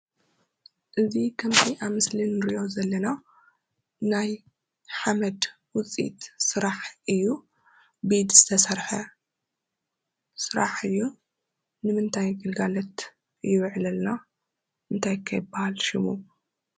እዚ ከምዚ ኣብ ምስሊ እንርእዮ ዘለና ናይ ሓመድ ውፀኢት ስራሕ እዩ። ብኢድ ዝተሰረሐ ስራሕ እዩ። ንምንታይ ግልጋሎት ይውዕል ኣሎ? እንታይ ከ ይባሃል ሽሙ?